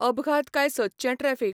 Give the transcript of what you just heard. अपघात काय सदचें ट्रॅफिक